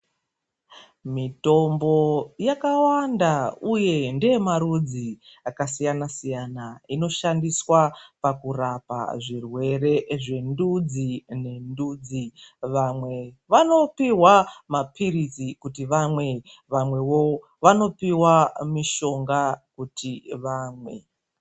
Mitombo yakawanda uye ngeyemarudzi akasiyana siyana inoshandiswa pakurapa zvirwere zvendudzi nendudzi vamwe vanopihwa mapilizi kuti vamwe vamwevo vanopiva mishonga kuti vamwe.